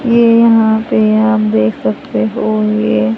ये यहां पे आप देख सकते हो ये--